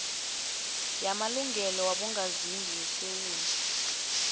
yamalungelo wabongazimbi yesewula